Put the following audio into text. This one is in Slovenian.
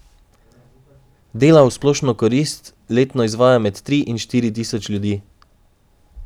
Dela v splošno korist letno izvaja med tri in štiri tisoč ljudi.